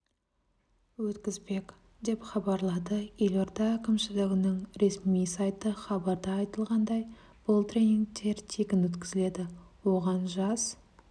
өткізбек деп хабарлады елорда әкімшілігінің ресми сайты хабарда айтылғандай бұл тренингтер тегін өткізіледі оған жас